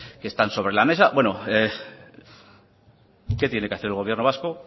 que están sobre la mesa qué tiene que hacer el gobierno vasco